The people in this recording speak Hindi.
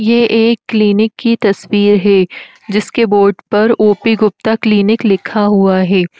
यह एक क्लीनिक की तस्वीर है जिसके बोर्ड पर ओपी गुप्ता क्लिनिक लिखा हुआ है।